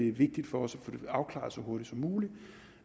er vigtigt for os at få det afklaret så hurtigt som muligt